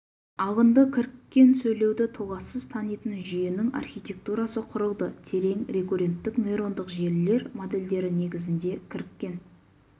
алынды кіріккен сөйлеуді толассыз танитын жүйенің архитектурасы құрылды терең рекурренттік нейрондық желілер модельдері негізінде кіріккен